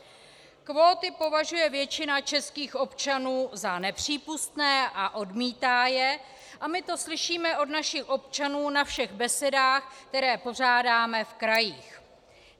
Kvóty považuje většina českých občanů za nepřípustné a odmítá je a my to slyšíme od našich občanů na všech besedách, které pořádáme v krajích.